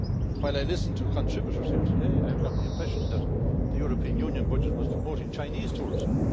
While I listened to contributors here today, I got the impression that the European Union budget was promoting Chinese tourism.